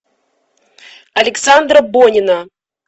александра бонина